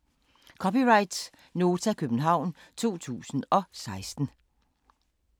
(c) Nota, København 2016